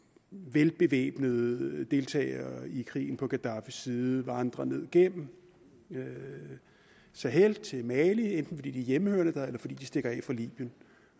velbevæbnede deltagere i krigen på gaddafis side vandrer ned gennem og så hen til mali enten fordi de er hjemmehørende der eller fordi de stikker